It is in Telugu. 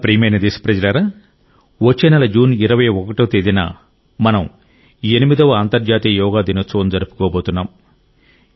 నా ప్రియమైన దేశప్రజలారా వచ్చే నెల జూన్ 21వ తేదీన మనం 8వ అంతర్జాతీయ యోగా దినోత్సవం జరుపుకోబోతున్నాం